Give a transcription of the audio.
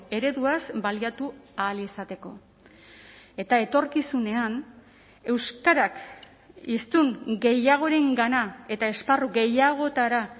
ereduaz baliatu ahal izateko eta etorkizunean euskarak hiztun gehiagorengana eta esparru gehiagotara